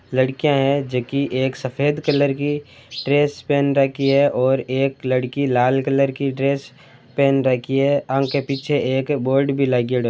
लड़कियां हैं जैकी एक सफेद कलर की ड्रेस पेन रखी है और एक लड़की लाल कलर की ड्रेस पेन रखी है आंक पीछे एक बोर्ड भी लागियोडो है।